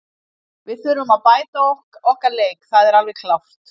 Við þurfum að bæta okkar leik, það er alveg klárt.